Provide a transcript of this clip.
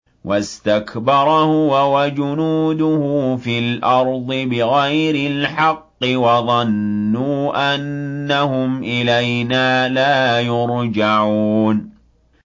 وَاسْتَكْبَرَ هُوَ وَجُنُودُهُ فِي الْأَرْضِ بِغَيْرِ الْحَقِّ وَظَنُّوا أَنَّهُمْ إِلَيْنَا لَا يُرْجَعُونَ